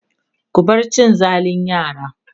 ku bar cin zalin yara!